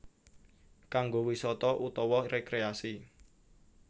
Kanggo wisata utawa rekreasi